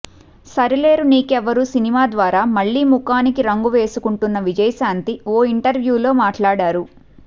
Sarileru Neekevvaru cinema ద్వారా మళ్లీ ముఖానికి రంగు వేసుకుంటున్న విజయశాంతి ఓ ఇంటర్వ్యూలో మాట్లాడారు